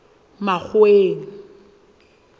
makgoweng